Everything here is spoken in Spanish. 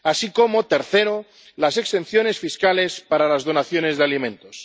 y, tercero, las exenciones fiscales para las donaciones de alimentos.